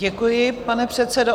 Děkuji, pane předsedo.